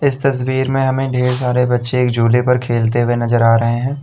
तस्वीर में हमें ढेर सारे बच्चे एक झूले पे खेलते हुए नजर आ रहे हैं।